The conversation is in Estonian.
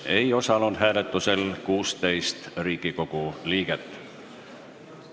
Hääletusel ei osalenud 16 Riigikogu liiget.